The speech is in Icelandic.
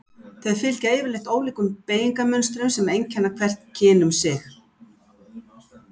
Þau fylgja yfirleitt ólíkum beygingarmynstrum sem einkenna hvert kyn um sig.